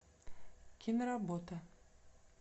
киноработа